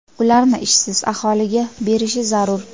ularni ishsiz aholiga berishi zarur.